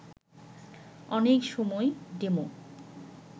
অনেক সময় ডেমো